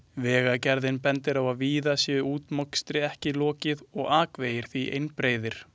Vegagerðin bendir á að víða sé útmokstri ekki lokið og akvegir því einbreiðir.